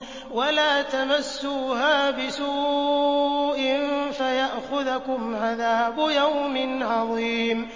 وَلَا تَمَسُّوهَا بِسُوءٍ فَيَأْخُذَكُمْ عَذَابُ يَوْمٍ عَظِيمٍ